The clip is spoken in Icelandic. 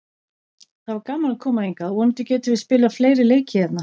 Það var gaman að koma hingað og vonandi getum við spilað fleiri leiki hérna.